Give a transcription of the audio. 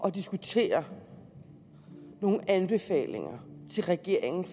at diskutere nogle anbefalinger til regeringen